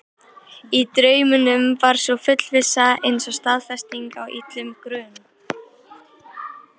Í draumnum var sú fullvissa eins og staðfesting á illum grun.